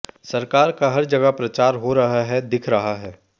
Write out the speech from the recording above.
सरकार का हर जगह प्रचार हो रहा है दिख रहा है